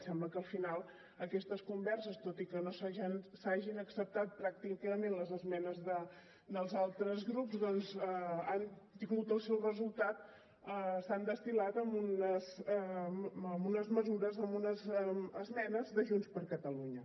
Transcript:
sembla que al final aquestes converses tot i que no s’hagin acceptat pràcticament les esmenes dels altres grups doncs han tingut el seu resultat s’han destil·lat en unes mesures en unes esmenes de junts per catalunya